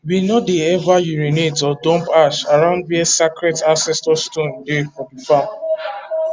we no dey ever urinate or dump ash around where sacred ancestor stone dey for the farm